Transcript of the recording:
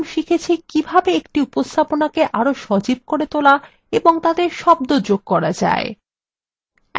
আমরা এখন শিখেছি কিভাবে একটি উপস্থাপনাকে আরো সজীব এবং তাতে শব্দ যোগ করা যায়